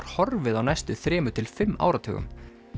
horfið á næstu þremur til fimm áratugum